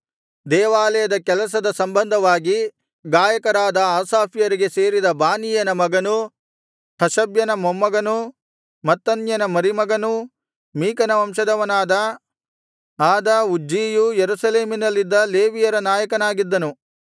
ದೇವಾಲಯದ ಕೆಲಸದ ಸಂಬಂಧವಾಗಿ ಗಾಯಕರಾದ ಆಸಾಫ್ಯರಿಗೆ ಸೇರಿದ ಬಾನೀಯನ ಮಗನೂ ಹಷಬ್ಯನ ಮೊಮ್ಮಗನೂ ಮತ್ತನ್ಯನ ಮರಿಮಗನೂ ಮೀಕನ ವಂಶದವನಾದ ಆದ ಉಜ್ಜೀಯು ಯೆರೂಸಲೇಮಿನಲ್ಲಿದ್ದ ಲೇವಿಯರ ನಾಯಕನಾಗಿದ್ದನು